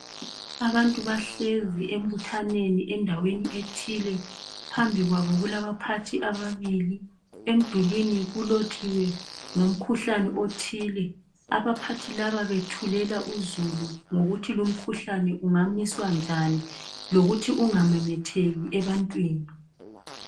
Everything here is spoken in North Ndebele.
Abantu bahlezi embuthaneni endaweni ethile phambi kwabo kulabaphathi ababili emdulwini kulotshiwe ngomkhuhlane othile abaphathi laba bethulela uzulu ngokuthi lumkhuhlane ungamiswa njani lokuthi ungamemetheki ebantwini.